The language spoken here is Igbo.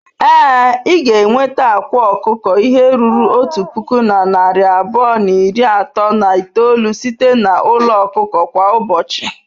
Ee, ị ga-enweta akwa ọkụkọ ihe ruru otu puku na narị abụọ na iri atọ na itoolu site na n'ụlọ ọkụkọ kwa ụbọchị.